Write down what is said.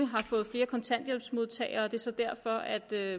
har fået flere kontanthjælpsmodtagere og at det er